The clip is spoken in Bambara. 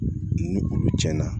Ni olu tiɲɛna